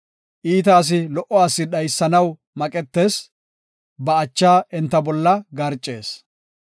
Iita asi lo77o asi dhaysanaw maqetees; ba acha enta bolla garcees.